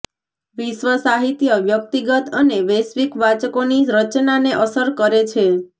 વિશ્વ સાહિત્ય વ્યક્તિગત અને વૈશ્વિક વાચકોની રચનાને અસર કરે છે